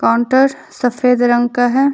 Counter सफेद रंग का है।